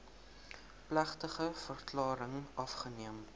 plegtige verklaring afgeneem